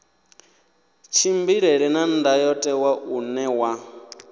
tshimbilelane na ndayotewa une wa